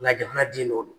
Nga jamanaden dɔ do